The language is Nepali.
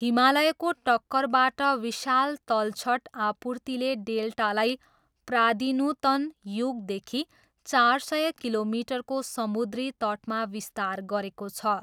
हिमालयको टक्करबाट विशाल तलछट आपूर्तिले डेल्टालाई प्रादिनुतन युगदेखि चार सय किलोमिटरको समुद्री तटमा विस्तार गरेको छ।